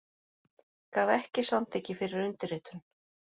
Gaf ekki samþykki fyrir undirritun